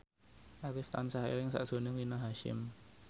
Arif tansah eling sakjroning Rina Hasyim